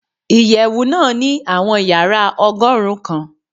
Iyẹwu naa ni awọn yara ọgọrun kan